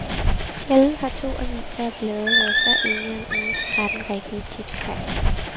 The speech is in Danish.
Sjældent har to aviser og blade været så enige om ugens tretten rigtige tipstegn.